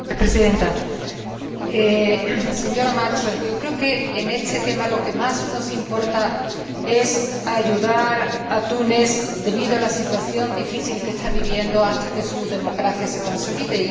Señora Presidenta, señora Malmström, yo creo que, en este tema, lo que más nos importa es ayudar a Túnez, debido a la situación difícil que está viviendo, hasta que su democracia se consolide.